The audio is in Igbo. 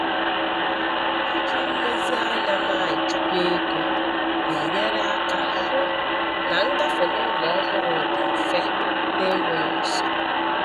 Iji nlezianya na-echukwa ego na-enyere aka hụ na ngafe n'ụlọ ọhụrụ dị mfe na enweghị nsogbu.